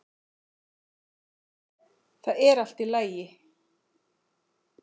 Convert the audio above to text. ÞAÐ ER ALLT Í LAGI!